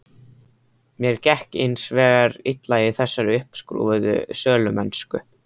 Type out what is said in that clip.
Mér gekk hins vegar illa í þessari uppskrúfuðu sölumennsku.